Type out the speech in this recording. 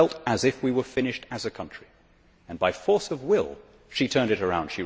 We felt as if we were finished as a country, and by force of will she turned it round.